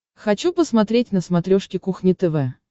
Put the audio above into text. хочу посмотреть на смотрешке кухня тв